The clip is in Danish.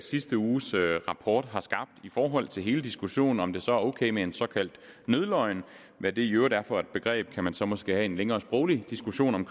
sidste uges rapport har skabt i forhold til hele diskussionen om om det så er ok med en såkaldt nødløgn og hvad det i øvrigt er for et begreb kan man så måske have en længere sproglig diskussion om